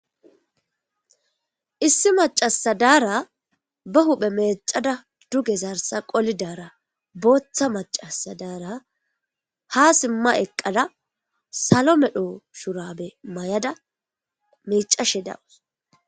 Issi macassiya ba huphphe mecadda duge zarssa qolada boththa macasi daara ha sima eqada salo medho shurabe mayada micase dawus